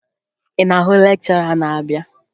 Ị na-ahụ lekchọra na-abịa?